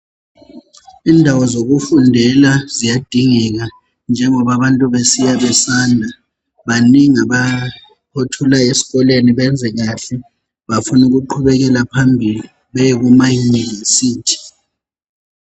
Indawo zokufundela ziyadingeka, njengoba abantu besiya besanda, banengi othola esikolweni benze kahle befuna ukuqhubekela phambili beye kumaUniversity.